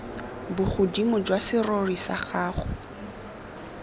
bogodimo jwa serori sa gago